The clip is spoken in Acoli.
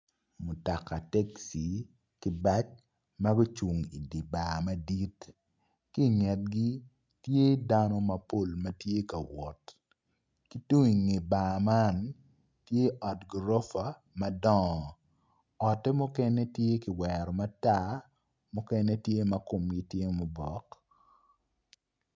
Mutoka tekci ki bac ma gucung idi bar madit ki ingetgi tye dano mapol ma tye ka wot tung inge bar man tye ot gurofa madongo otte mukene tye ki wero matar mukene tye ma kumgi obok